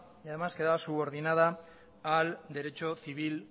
y además quedaba subordinada al derecho civil